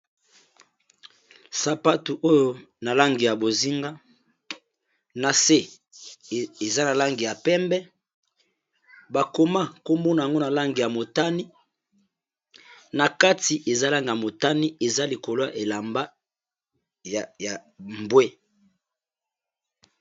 Sapatu oyo na langi ya bozinga na se eza na langi ya pembe bakoma komona yango na lange ya motani na kati eza langi ya motani eza likolwa elamba ya mbwe.